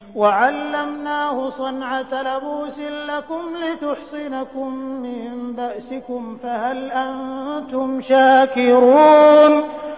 وَعَلَّمْنَاهُ صَنْعَةَ لَبُوسٍ لَّكُمْ لِتُحْصِنَكُم مِّن بَأْسِكُمْ ۖ فَهَلْ أَنتُمْ شَاكِرُونَ